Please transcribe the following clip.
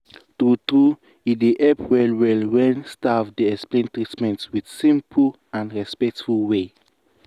true true e dey help well well when staff dey explain treatment with simple and respectful way.